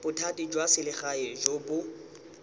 bothati jwa selegae jo bo